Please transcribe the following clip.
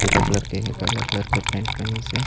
ईटा कलर के हेवय काला कलर के पैंट पहनिसे--